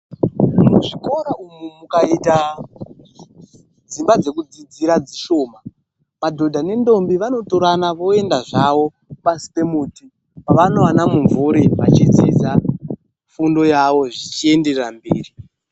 Muzvikora umu mukaita dzimba dzekudzidzira dzishoma, madhodha nendombi vanotorana voenda zvawo pasi pemuti. Pavanowana mumvuri vachidzidza fundo yawo zvichienderera mberi.